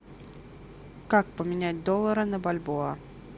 как поменять доллары на бальбоа